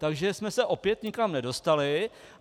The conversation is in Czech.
Takže jsme se opět nikam nedostali.